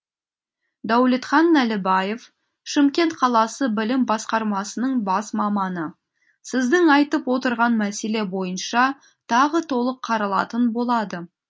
дәулетхан нәлібаев шымкент қаласы білім басқармасының бас маманы сіздің айтып отырған мәселе бойынша тағы толық қаралатын болады